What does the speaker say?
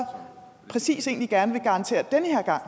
præcis egentlig gerne vil garantere den her gang